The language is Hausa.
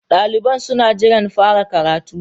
Daliban suna jiran fara karatun.